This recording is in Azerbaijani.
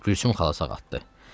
Gülsüm xala sağaltdı."